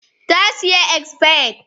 ta siya expired